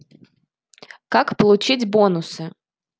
как получить бонусы